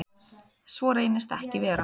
Svo reynist ekki vera.